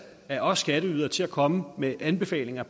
af os skatteydere til at komme med anbefalinger